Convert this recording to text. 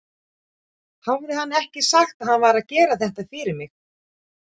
Hafði hann ekki sagt að hann væri að gera þetta fyrir mig?